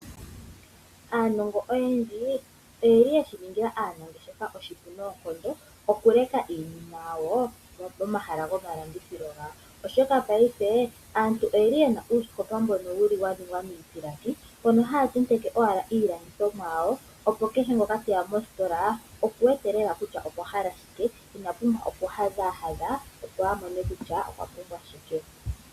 Aanongo oyendji oyeli yeshi ningila aanangeshefa oshipu noonkondo, oku leka iinima yawo pomahala gomalandithilo gawo, oshoka paife aantu oyeli yena uusikopa mboka wa ningwa miipilangi, mpono haya tenteke owala iilandithomwa yawo opo kehe ngoka teya kositola oku wete lela kutya okwa hala shike, ina pumbwa oku hadhaahadha, opo a mone kutya okwa pumbwa shike.